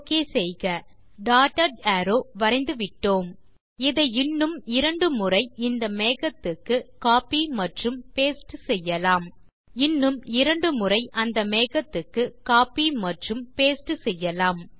okay செய்க dotted arrow வரைந்துவிட்டோம் இதை இன்னும் இரண்டு முறை இந்த மேகத்துக்கு கோப்பி மற்றும் பாஸ்டே செய்யலாம் இன்னும் இரண்டு முறை அந்த மேகத்துக்கு கோப்பி மற்றும் பாஸ்டே செய்யலாம்